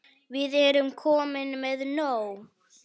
Við erum komin með nóg.